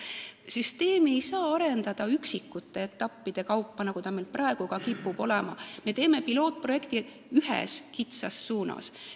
Süsteemi ei saa arendada üksikute etappide kaupa, nagu see meil praegu kipub olema, kui me teeme pilootprojekti ühes kitsas suunas.